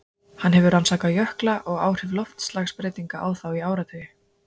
Hann hefur rannsakað jökla og áhrif loftslagsbreytinga á þá í áratugi.